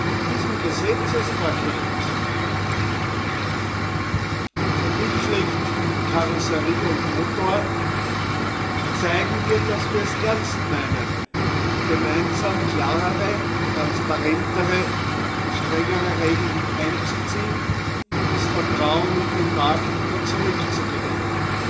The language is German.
Mit diesem Gesetzespaket verbildlicht in Karosserie und Motor zeigen wir, dass wir es ernst meinen, gemeinsam klarere, transparentere und strengere Regeln einzuziehen und das Vertrauen in den Markt wieder zurückzugewinnen,